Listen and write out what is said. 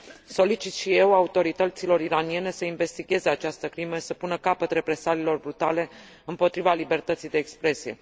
Solicit și eu autorităților iraniene să investigheze această crimă și să pună capăt represaliilor brutale împotriva libertății de expresie.